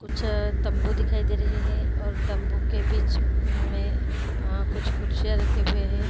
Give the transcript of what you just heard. कुछ तंबू दिखाई दे रहे हैं और तंबू के बीच में आ कुछ कुर्सियाँ रखी हुई है।